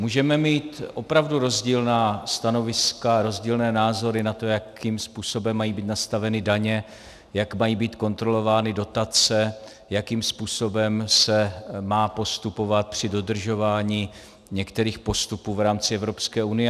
Můžeme mít opravdu rozdílná stanoviska, rozdílné názory na to, jakým způsobem mají být nastaveny daně, jak mají být kontrolovány dotace, jakým způsobem se má postupovat při dodržování některých postupů v rámci Evropské unie.